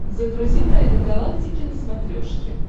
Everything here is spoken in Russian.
загрузи тайны галактики на смотрешке